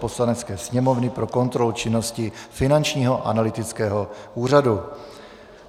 Poslanecké sněmovny pro kontrolu činnosti Finančního analytického úřadu